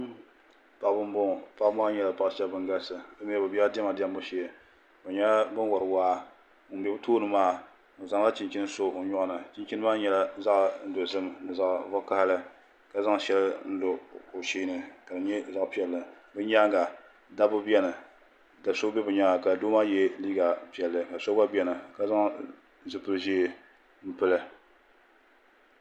Paɣabi n bɔŋɔ paɣa maa nyɛla ban galisi bɛ bɛla dɛma diɛmbu shee bɛ nyɛla ŋun wari waa ŋun bɛ o tooni maa o zanla chinchini so o nyoɣu ni chinchimaa nyɛla zaɣi dozim zaɣi vakahili ka zan shɛli n lo o sheeni ka di nyɛ zaɣi piɛli bɛ nyaanŋa dabi bɛni ka so bɛni ka zan zupili zee n pili